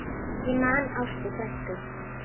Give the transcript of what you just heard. Ég man Ástu frænku.